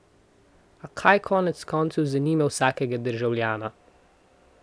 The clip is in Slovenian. A kaj konec koncev zanima vsakega državljana?